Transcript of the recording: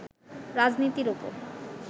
রাজনীতির ওপর